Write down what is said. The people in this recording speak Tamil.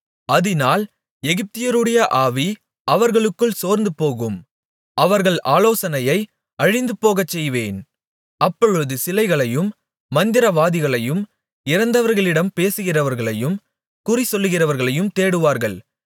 அதினால் எகிப்தியருடைய ஆவி அவர்களுக்குள் சோர்ந்துபோகும் அவர்கள் ஆலோசனையை அழிந்துபோகச்செய்வேன் அப்பொழுது சிலைகளையும் மந்திரவாதிகளையும் இறந்தவர்களிடம் பேசுகிறவர்களையும் குறிசொல்கிறவர்களையும் தேடுவார்கள்